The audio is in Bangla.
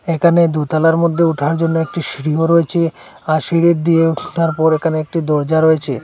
এখানে দোতলার মধ্যে উঠার জন্য একটি সিঁড়িও রয়েছে আর সিঁড়ি দিয়ে ওঠার পর এখানে একটি দরজা রয়েছে।